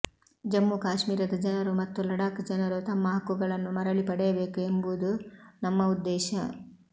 ಜಮ್ಮು ಕಾಶ್ಮೀರದ ಜನರು ಮತ್ತು ಲಡಾಖ್ ಜನರು ತಮ್ಮ ಹಕ್ಕುಗಳನ್ನು ಮರಳಿ ಪಡೆಯಬೇಕು ಎಂಬುದು ನಮ್ಮ ಉದ್ದೇಶ